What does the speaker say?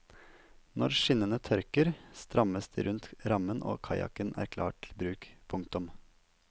Når skinnene tørker strammes de rundt rammen og kajakken er klar til bruk. punktum